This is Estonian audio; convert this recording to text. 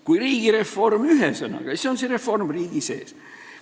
Kui "riigireform" on üks sõna, siis on see reform riigi sees.